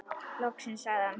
Loksins sagði hann.